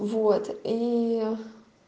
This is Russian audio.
вот и